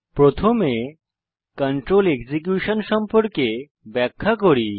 প্রথমে control execution সম্পর্কে ব্যাখ্যা করি